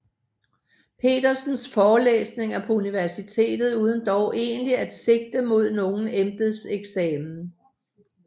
Petersens forelæsninger på universitetet uden dog egentlig at sigte mod nogen embedseksamen